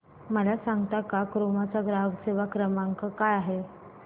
मला सांगता का क्रोमा चा ग्राहक सेवा क्रमांक काय आहे